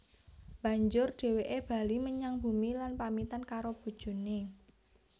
Banjur dhèwèké bali menyang bumi lan pamitan karo bojoné